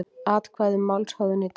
Atkvæði um málshöfðun í dag